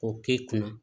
K'o k'e kunna